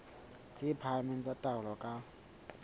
tse phahameng tsa taolo ka